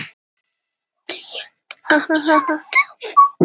Hann sprettur á fætur og er óðar kominn út á hlað.